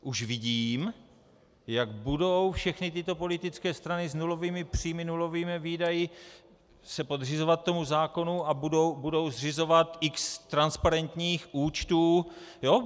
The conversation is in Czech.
Už vidím, jak budou všechny tyto politické strany s nulovými příjmy, nulovými výdaji se podřizovat tomu zákonu a budou zřizovat x transparentních účtů.